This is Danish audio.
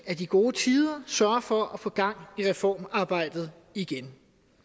af de gode tider sørge for at få gang i reformarbejdet igen